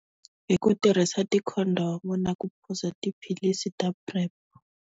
Hi ku tirhisa ti condom-u ku phuza tiphilisi ta .